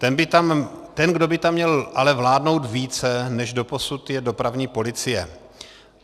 Ten, kdo by tam měl ale vládnout více než doposud, je dopravní policie.